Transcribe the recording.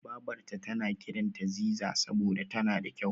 Babarta tana kiranta Ziza saboda tana da kyau.